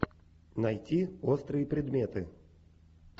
найти острые предметы